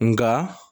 Nka